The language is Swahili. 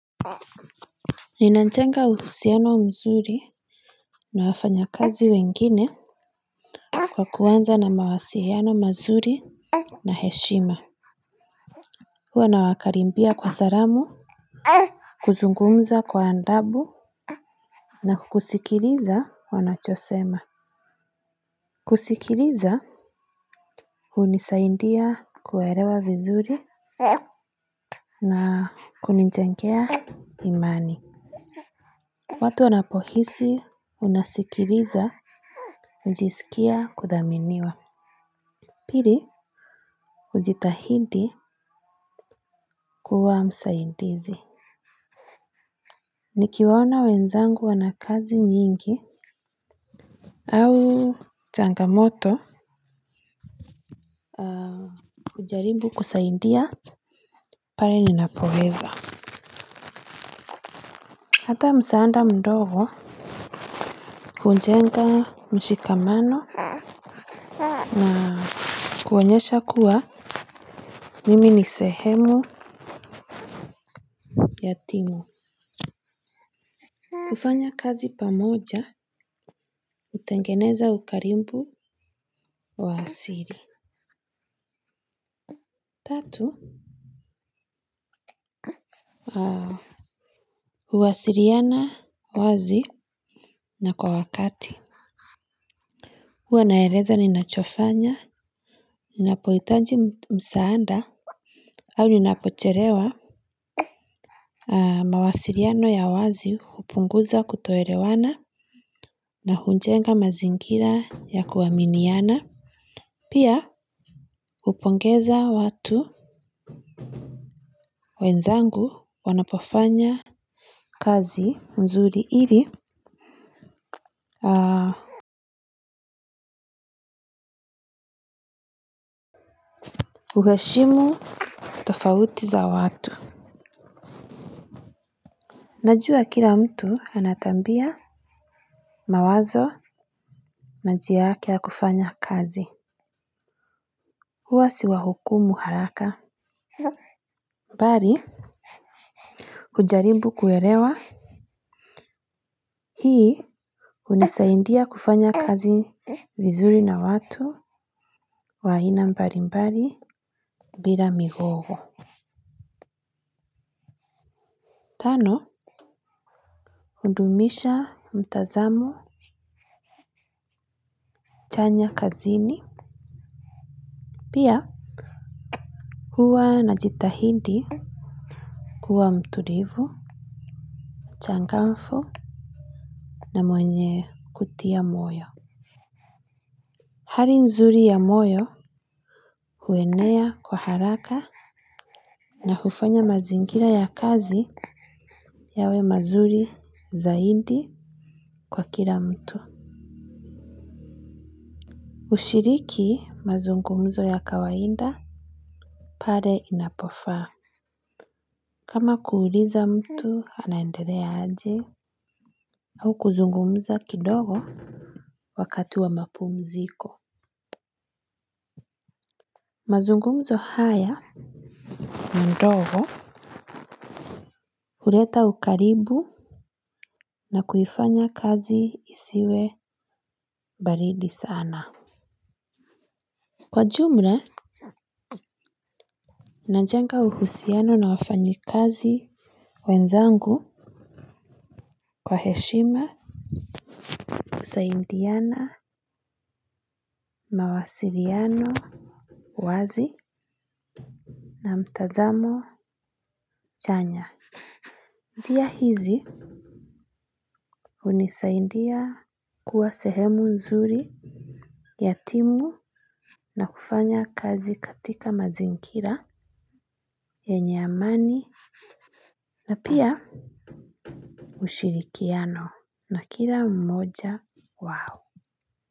Ninajenga uhusiano nzuri na wafanyakazi wengine kwa kwanza na mawasiano mazuri na heshima. Huwa nawakaribia kwa salamu kuzungumza kwa adabu na kusikiliza wanachosema. Kusikiliza hunisaidia kuwaelewa vizuri na kunijengea imani. Watu wanapohisi unasikilizwa hujisikia kudhaminiwa. Pili hujitahidi kuwa msaidizi. Nikiwaona wenzangu wana kazi nyingi au changamoto hujaribu kusaidia pale ninapoweza. Hata msaada mdogo hujenga mshikamano na kuonyesha kuwa mimi ni sehemu ya timu. Kufanya kazi pamoja, hutengeneza ukaribu wa asili. Tatu. Wao. Huwasiliana kwa uwazi na kwa wakati. Huwa naeleza ninachofanya, ninapohitaji msaada, au ninapochelewa. Mawasiliano ya uwazi hupunguza kutoelewana na hujenga mazingira ya kuaminiana. Pia, hupongeza watu. Wenzangu wanapofanya. Kazi nzuri ili uheshimu tofauti za watu. Najua kila mtu ana tabia mawazo na njia yake ya kufanya kazi. Huwa siwahukumu haraka. Bali, hujaribu kuelewa. Hii, hunisaidia kufanya kazi vizuri na watu wa aina mbalimbali bila migogo. Tano, hudumisha mtazamo chanya kazini. Pia huwa najitahidi kuwa mtulivu, mchangamfu na mwenye kutia moyo. Hali nzuri ya moyo huenea kwa haraka na hufanya mazingira ya kazi yawe mazuri zaidi kwa kila mtu. Hushiriki mazungumzo ya kawaida pale inapofaa. Kama kuuliza mtu anaendelea aje au kuzungumza kidogo. Wakati wa mapumziko mazungumzo haya Madogo Huleta ukaribu na kuifanya kazi isiwe baridi sana. Kwa jumla najenga uhusiano na wafanyikazi Wenzangu. Kwa heshima Husaidiana. Mawasiliano uwazi na mtazamo Chanya Njia hizi Hunisaidia Kuwa sehemu nzuri ya timu na kufanya kazi katika mazingira yenye amani na pia ushirikiano na kila mmoja wao.